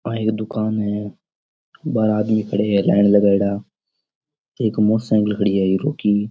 आ एक दूकान है बाहर आदमी खड़ा है लाइन लगाया एक मोटरसाइकिल खड़ी है हीरो की।